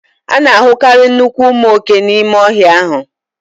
A na-ahụkarị nnukwu ụmụ oke n'ime ọhịa ahụ